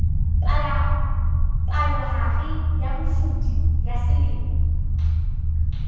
palohare ya phofudi ya selemo